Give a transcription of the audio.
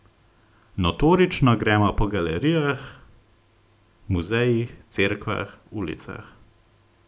Notorično gremo po galerijah, muzejih, cerkvah, ulicah.